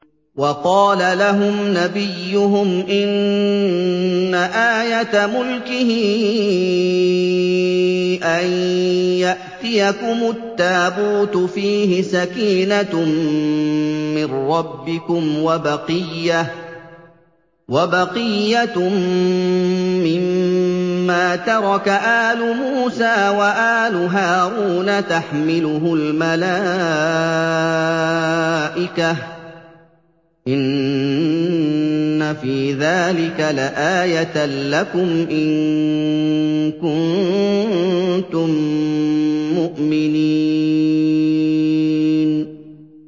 وَقَالَ لَهُمْ نَبِيُّهُمْ إِنَّ آيَةَ مُلْكِهِ أَن يَأْتِيَكُمُ التَّابُوتُ فِيهِ سَكِينَةٌ مِّن رَّبِّكُمْ وَبَقِيَّةٌ مِّمَّا تَرَكَ آلُ مُوسَىٰ وَآلُ هَارُونَ تَحْمِلُهُ الْمَلَائِكَةُ ۚ إِنَّ فِي ذَٰلِكَ لَآيَةً لَّكُمْ إِن كُنتُم مُّؤْمِنِينَ